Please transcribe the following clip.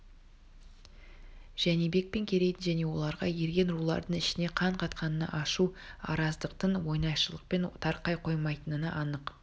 жәнібек пен керейдің және оларға ерген рулардың ішіне қан қатқанына ашу араздықтың оңайшылықпен тарқай қоймайтынына анық